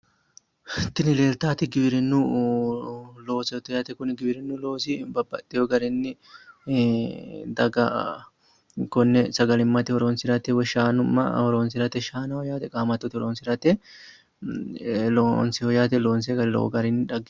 Tini leelittanoti giwirinu loosoti yaate kuni giwirinu loosi daga shaanaho woyi qaamattote horonsirateti loonsoni garino